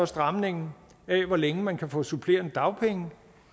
stramningen af hvor længe man kan få supplerende dagpenge